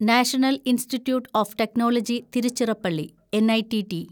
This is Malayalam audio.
national institute of technology Tiruchirappalli (N I T T)